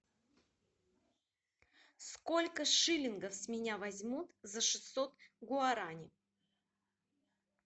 сколько шиллингов с меня возьмут за шестьсот гуарани